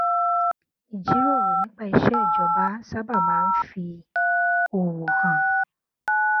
ìjíròrò nípa iṣé ìjọba sábà máa ń fi òwò hàn